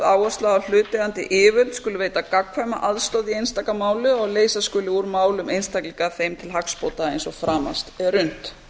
áhersla á að hlutaðeigandi yfirvöld skuli veita gagnkvæma aðstoð í einstaka máli og að leysa skuli úr málum einstaklinga þeim til hagsbóta eins og framast er unnt